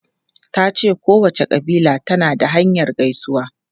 Ta ce kowace kabila tana da hanyar gaisuwa.